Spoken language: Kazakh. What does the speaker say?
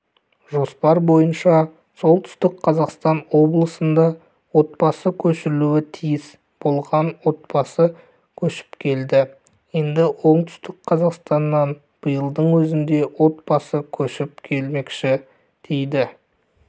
жоспар бойынша солтүстік қазақстан облысына отбасы көшірілуі тиіс болған отбасы көшіп келді енді оңтүстік қазақстаннан биылдың өзінде отбасы көшіп келмекші дейді